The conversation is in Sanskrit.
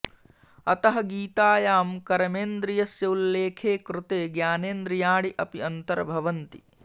अतः गीतायां कर्मेन्द्रियस्य उल्लेखे कृते ज्ञानेन्द्रियाणि अपि अन्तर्भवन्ति